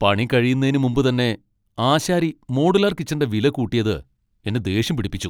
പണി കഴിയുന്നേന് മുമ്പുതന്നെ ആശാരി മോഡുലാർ കിച്ചന്റെ വില കൂട്ടിയത് എന്നെ ദേഷ്യം പിടിപ്പിച്ചു.